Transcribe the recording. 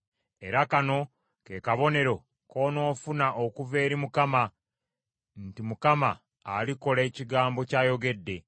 “ ‘Era kano ke kabonero k’onoofuna okuva eri Mukama nti Mukama alikola ekigambo ky’ayogedde.